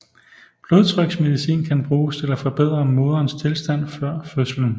Blodtryksmedicin kan bruges til at forbedre moderens tilstand før fødslen